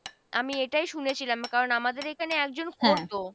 আমি এটাই শুনেছিলাম কারণ আমাদের এখানে একজন করতো।